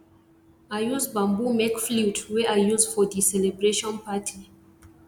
i use bamboo make flute wey i use for di celebration party